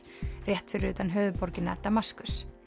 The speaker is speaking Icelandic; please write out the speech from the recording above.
rétt fyrir utan höfuðborgina Damaskus